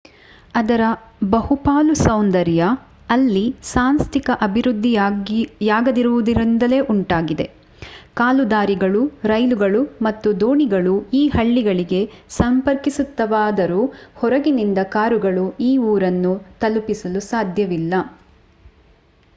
ಅದರ ಬಹುಪಾಲು ಸೌಂದರ್ಯ ಅಲ್ಲಿ ಸಾಂಸ್ಥಿಕ ಅಭಿವೃದ್ಧಿಯಾಗದಿರುವುದರಿಂದಲೇ ಉಂಟಾಗಿದೆ ಕಾಲುದಾರಿಗಳು ರೈಲುಗಳು ಮತ್ತು ದೋಣಿಗಳು ಈ ಹಳ್ಳಿಗಳಿಗೆ ಸಂಪರ್ಕಿಸುತ್ತವಾದರೂ ಹೊರಗಿನಿಂದ ಕಾರುಗಳು ಈ ಊರನ್ನು ತಲುಪಲು ಸಾಧ್ಯವಿಲ್ಲ